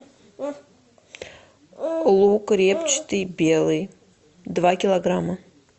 лук репчатый белый два килограмма